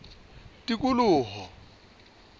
tikoloho